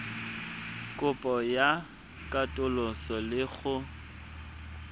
kopo ya katoloso le go